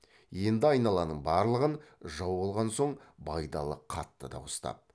енді айналаның барлығын жау алған соң байдалы қатты дауыстап